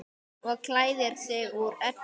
Og klæðir sig úr öllu!